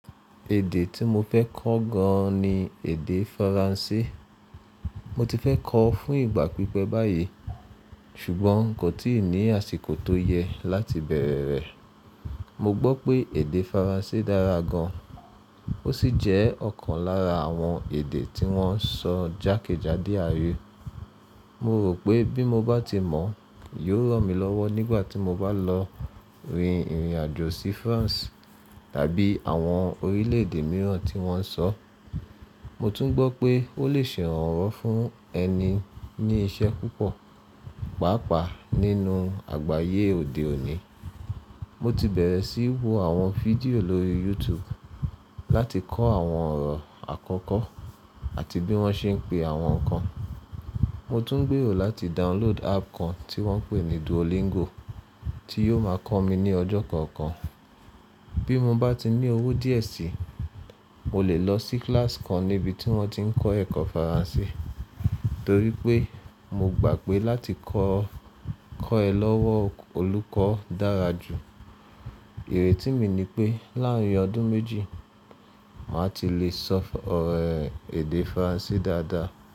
Èdè tí mo fẹ́ kọ́ gan ni èdè Faransé. Mo ti fẹ́ kọ́ ọ fún ìgbà pípẹ́ báyìí ṣùgbọ́n kò tíì ní àsìkò tó yẹ láti bẹ̀rẹ̀ rẹ̀. Mo gbọ́ pé èdè Faransé dára gan, ó sì jẹ́ ọ̀kan lára àwọn èdè tí wọ́n ń sọ jákèjádò ááyé. Mo rò pé bí mo bá ti mọ̀, yóò ràn mí lọ́wọ́ nígbà tí mo bá lọ rin ìrìn àjò sí France tàbí àwọn orílẹ̀ èdè mìíràn tí wọ́n ń sọ. Mo tún gbọ́ pé ó lè ṣe ìrànwọ́ fún ẹni ní iṣẹ́ púpọ̀, pàápàá nínú àgbáyé òde òní. Mo ti bẹ̀rẹ̀ sí í wo àwọn fídíò lórí YouTube láti kọ́ àwọn ọ̀rọ̀ àkọ́kọ́ àti bí wọ́n ṣe ń pe àwọn nǹkan. Mo tún ń gbèrò láti download app kan tí wọ́n ń pè ní Duolingo tí yó máa kọ́ mi ní ọjọ́ kọ̀ọ̀kan. Bí mo bá tí ní owó díẹ̀ sí, mo lè lọ sí kíláàsì kan níbi tí wọ́n ti ń kọ́ ẹ̀kọ́ Faransé torí pé mo gbà pé láti kọ́ ẹ lọ́wọ́ olùkọ́ dára jù. Ìrètí mi ni pé láàárín ọdún méjì, màá ti lè sọ ọ̀rọ̀ èdè Faransé dáadáa.